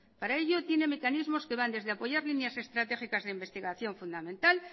para ello tiene mecanismos que van desde apoyar líneas estratégicas de investigación fundamental